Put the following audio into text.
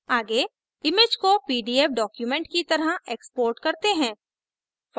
आगे image को pdf document की तरह export करते हैं